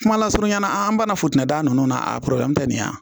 Kuma lasurunya na an banana foti da nunnu na a nin yan